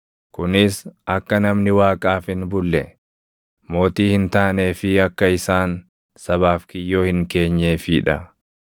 kunis akka namni Waaqaaf hin bulle mootii hin taanee fi akka isaan sabaaf kiyyoo hin keenyeefii dha.